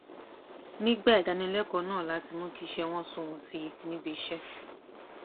nígbà ìdánilékòó náà láti mú kí iṣé wọn sunwòn sí i ní ibiṣẹ